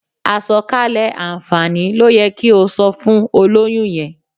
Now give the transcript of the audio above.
Àsọ̀kalẹ̀ àǹfààní ló yẹ kí o sọ fún olóyún yẹn.